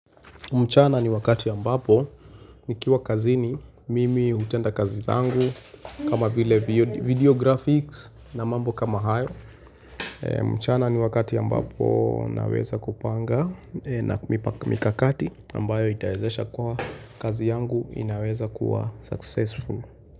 Mchana ni wakati ya ambapo, nikiwa kazini, mimi hutenda kazi zangu. Kama vile video graphics na mambo kama hayo. Mchana ni wakati ambapo naweza kupanga na mikakati ambayo itaezesha kwa kazi yangu inaweza kuwa successful.